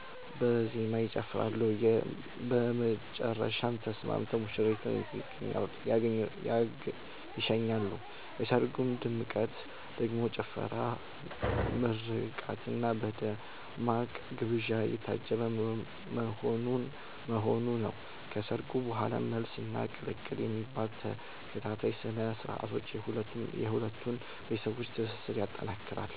በዜማ ይጨፍራሉ፤ በመጨረሻም ተስማምተው ሙሽሪትን ይሸኛሉ። የሰርጉ ድምቀት ደግሞ ጭፈራ፣ በምርቃትና በደማቅ ግብዣ የታጀበ መሆኑ ነው። ከሰርጉ በኋላም "መልስ" እና "ቅልቅል" የሚባሉ ተከታታይ ስነ-ስርዓቶች የሁለቱን ቤተሰቦች ትስስር ይጠነክራል።